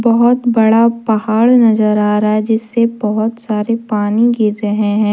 बहोत बड़ा पहाड़ नजर आ रहा है जिससे बहुत सारे पानी गिर रहे हैं।